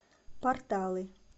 порталы